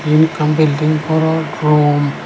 iyen ekkan bilding goro room.